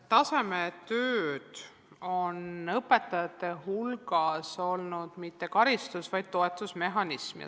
Tasemetöid on õpetajate hulgas võetud mitte karistusena, vaid toetusmehhanismina.